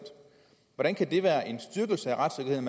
hvordan kan det være en styrkelse af retssikkerheden